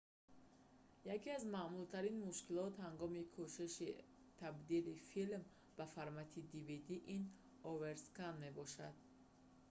яке аз маъмултарин мушкилот ҳангоми кӯшиши табдили филм ба формати dvd ин оверскан мебошад